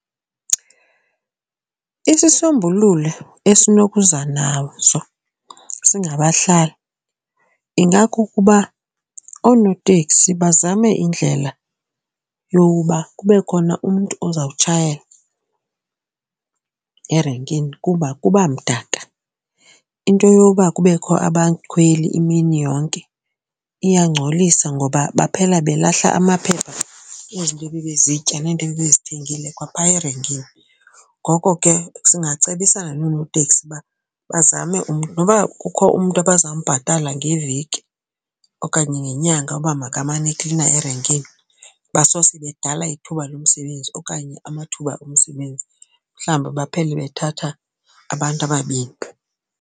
Isisombululo esinokuza naso singabahlali ingakukuba oonoteksi bazame indlela yokuba kube khona umntu oza kutshayela erenkini kuba kuba mdaka. Into yoba kubekho abakhweli imini yonke iyangcolisa ngoba baphela belahla amaphepha ezinto ebebezitya nento ebebezithengile kwaphaya erenkini. Ngoko ke singacebisana nonooteksi uba bazame umntu noba kukho umntu abaza mbhatala ngeveki okanye ngenyanga uba makamane eklina erenkini basose badala ithuba lomsebenzi okanye amathuba omsebenzi mhlawumbi baphele bethatha abantu ababini.